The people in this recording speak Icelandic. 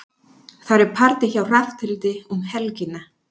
Það er partí hjá Hrafnhildi um helgina.